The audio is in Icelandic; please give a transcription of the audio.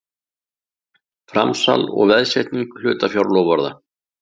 Framsal og veðsetning hlutafjárloforða.